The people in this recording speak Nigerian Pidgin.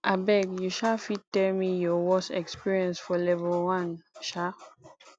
abeg you um fit tell me your worse experience for level 1 um